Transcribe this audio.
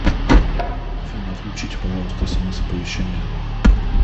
афина отключите пожалуйста смс оповещения